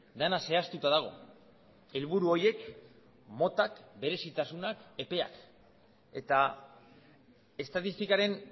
dena zehaztuta dago helburu horiek motak berezitasunak epeak eta estatistikaren